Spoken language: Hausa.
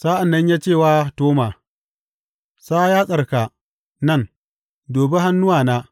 Sa’an nan ya ce wa Toma, Sa yatsarka nan; dubi hannuwana.